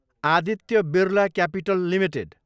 Aditya Birla capital Ltd